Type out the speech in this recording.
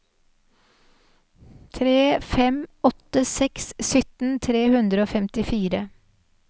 tre fem åtte seks sytten tre hundre og femtifire